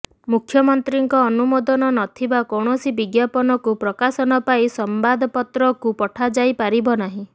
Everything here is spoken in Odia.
ମୁଖ୍ୟମନ୍ତ୍ରୀଙ୍କ ଅନୁମୋଦନ ନଥିବା କୌଣସି ବିଜ୍ଞାପନକୁ ପ୍ରକାଶନ ପାଇଁ ସମ୍ବାଦପତ୍ରକୁ ପଠାଯାଇ ପାରିବ ନାହିଁ